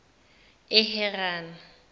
eharana